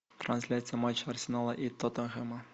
трансляция матча арсенала и тоттенхэма